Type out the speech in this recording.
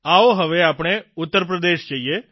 આવો હવે આપણે ઉત્તરપ્રદેશ જઇએ